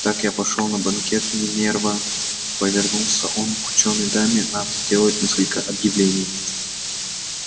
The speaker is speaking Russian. так я пошёл на банкет минерва повернулся он к учёной даме надо сделать несколько объявлений